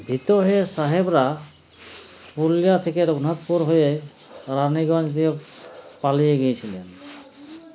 ভীত হয়ে সাহেবরা পুরুলিয়া থেকে রঘুনাথপুর হয়ে রানীগঞ্জ দিয়ে পালিয়ে গিয়েছিলেন